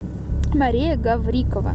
мария гаврикова